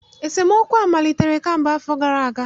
Esemookwu a malitere kamgbe afọ abụọ gara aga